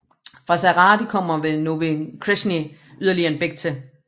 Fra Zahrady kommer ved Nové Křečany yderligere en bæk til